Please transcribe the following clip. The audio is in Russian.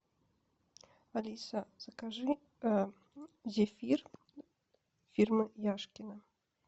алиса закажи зефир фирмы яшкино